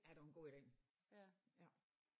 Ja det var en god idé